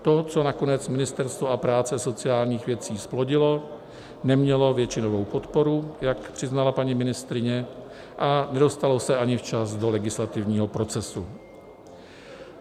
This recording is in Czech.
To, co nakonec Ministerstvo práce a sociálních věcí zplodilo, nemělo většinovou podporu, jak přiznala paní ministryně, a nedostalo se ani včas do legislativního procesu.